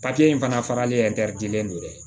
Papiye in fana faralen dɛ